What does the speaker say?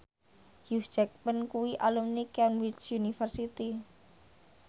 Hugh Jackman kuwi alumni Cambridge University